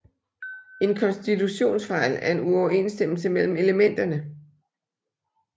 En kontinuitetsfejl er en uoverensstemmelse mellem elementerne